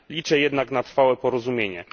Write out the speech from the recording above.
Liczę jednak na trwałe porozumienie.